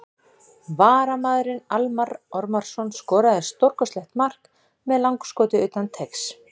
VARAMAÐURINN ALMARR ORMARSSON SKORAÐI STÓRKOSTLEGT MARK MEÐ LANGSKOTI UTAN TEIGS!!